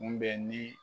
Mun bɛ ni